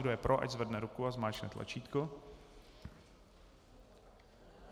Kdo je pro, ať zvedne ruku a zmáčkne tlačítko.